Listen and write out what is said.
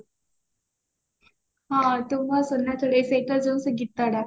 ହଁ ତୁ ମୋ ସୁନା ଚଢେଇ ସେଇଟା ଯୋଉ ସେଇ ଗୀତଟା